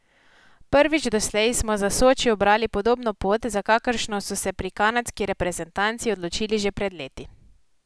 Prvič doslej smo za Soči ubrali podobno pot, za kakršno so se pri kanadski reprezentanci odločili že pred leti.